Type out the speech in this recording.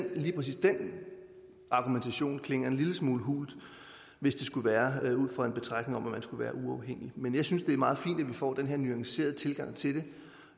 lige præcis den argumentation klinger en lille smule hult hvis det skulle være ud fra en betragtning om at man skulle være uafhængig men jeg synes det er meget fint at vi får den her nuancerede tilgang til